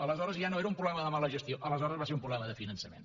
aleshores ja no era un problema de mala gestió aleshores va ser un problema de finançament